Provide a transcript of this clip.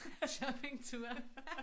Shoppingture